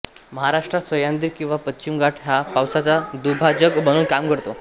महाराष्ट्रात सह्याद्री किवा पश्चिम घाट हा पावसाचा दुभाजक म्हणून काम करतो